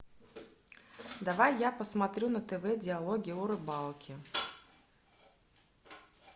давай я посмотрю на тв диалоги о рыбалке